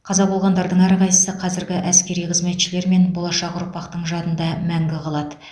қаза болғандардың әрқайсысы қазіргі әскери қызметшілер мен болашақ ұрпақтың жадында мәңгі қалады